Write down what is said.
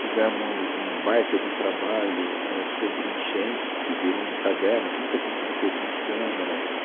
Fizemos um baita de um trabalho éh sobre enchentes, que virou um caderno, que nunca tinha sido feito na Câmara.